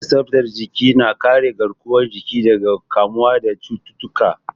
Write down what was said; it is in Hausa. Kula da tsaftar jiki na kare garkuwar jiki daga kamuwa da cututtuka.